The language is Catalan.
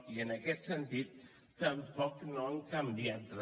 i en aquest sentit tampoc no han canviat re